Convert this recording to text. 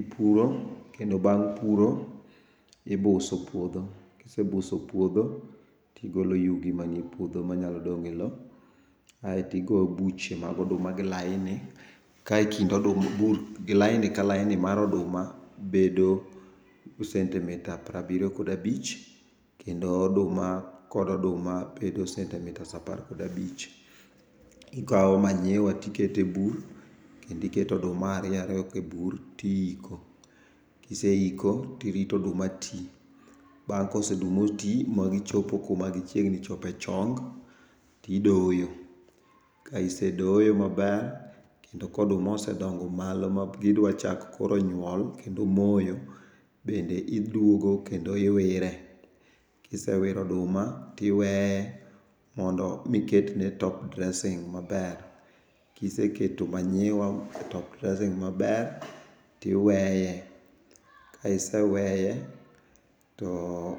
Ipuro, kendo bang' puro, ibuso puodho. Kisebuso puodho tigolo yugi manie puodho manyalo dong' e lo. Aeto igo buche mag oduma gi laini, kae kind laini ka laini mar oduma, bedo sentimita porabiryo kod abich, kendo oduma kod oduma, bedo sentimitas apar kod abich. Ikawo manyiwa tiketo e bur kendiketo oduma ariyo ariyo e bur tiyiko. Kiseyiko tirito oduma ti. Bang' koseduma ti, magichopo kuma gichiegni chopo e chong, tidoyo. Ks isedoyo maber, kendo ka oduma osedongo malo ma gidwachako koro nyuol, kendo moyo, bende idwogo kendo iwire. Kisewiro oduma tiweye miketne top dressing maber. Kiseketo manyiwa, top dressing maber, tiweye. Ka iseweye, to